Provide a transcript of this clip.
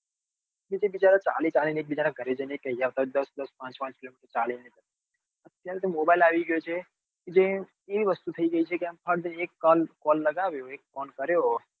પેલા તો બધા ચાલી ચાલી ને એક બીજા ને ઘરે જઈ જઈ ને કહી આવતા અત્યારે તો mobile આવ્યો એટલે unlimited ફોન લગાડ્યો ફોન કર્યો.